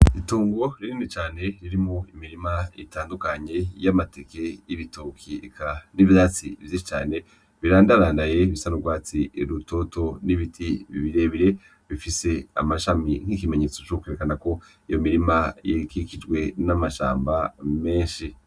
Itongo rinini cane ririmwo imirima itandukanye y'amateke, y'ibitoki eka n'ivyatsi vyinshi birandarandaye, bisa n'urwatsi rutoto n'ibiti birebire bifise amashami nk'ikimenyetso co kwerekana ko iyo mirima iba ikikijwe n'amashamba menshi.